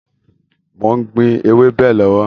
Mo ń gbìn ewébẹ̀ lọ́wọ́